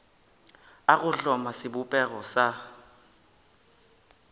a go hloma sebopego sa